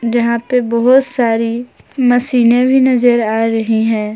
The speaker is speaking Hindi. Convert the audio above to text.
यहां पे बहुत सारी मशीनें भी नजर आ रही हैं।